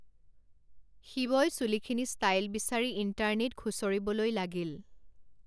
শিৱই চুলিখিনি ষ্টাইল বিচাৰি ইণ্টাৰনেট খুচৰিবলৈ লাগিল।